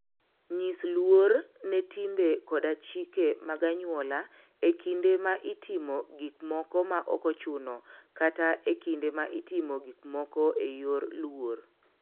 Nyis luor ne timbe koda chike mag anyuola e kinde ma itimo gik moko maok ochuno kata e kinde ma itimo gik moko e yor luor.